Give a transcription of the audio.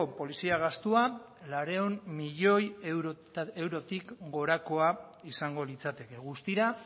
polizia gastua laurehun milioi eurotik gorakoa izango litzateke guztira